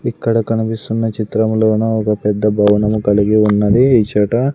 ఇక్కడ కనిపిస్తున్న చిత్రంలోన ఒక పెద్ద భవనం కలిగి ఉన్నది ఇచట.